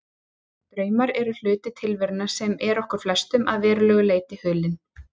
Draumar eru hluti tilverunnar sem er okkur flestum að verulegu leyti hulinn.